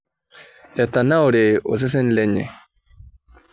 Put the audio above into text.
Eitanaura osesen lenye.